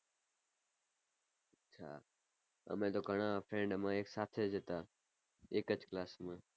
અચ્છા અમે તો ઘણા friend અમે એક સાથે જ હતા એક જ ક્લાસ માં.